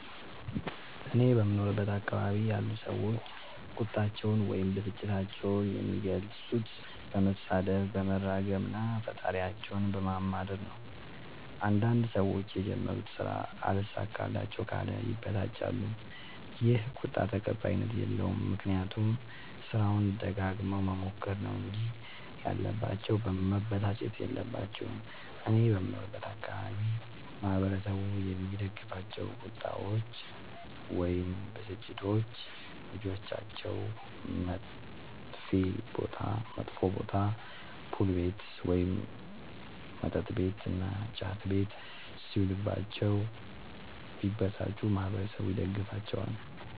እኔ በምኖርበት አካባቢ ያሉ ሠዎች ቁጣቸዉን ወይም ብስጭታቸዉን የሚገልፁት በመሣደብ በመራገም እና ፈጣሪያቸዉን በማማረር ነዉ። አንዳንድ ሠዎች የጀመሩት ስራ አልሣካላቸዉ ካለ ይበሳጫሉ ይ። ይህ ቁጣ ተቀባይኀት የለዉም። ምክንያቱም ስራዉን ደጋግመዉ መሞከር ነዉ እንጂ ያለባቸዉ መበሳጨት የለባቸዉም። እኔ በምኖርበት አካባቢ ማህበረሰቡ የሚደግፋቸዉ ቁጣዎች ወይም ብስጭቶች ልጆቻቸዉ መጥፌ ቦታ[ፑል ቤት መጥ ቤት እና ጫት ቤት ]ሢዉሉባቸዉ ቢበሳጩ ማህበረሠቡ ይደግፋቸዋል።